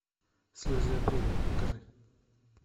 слезы апреля покажи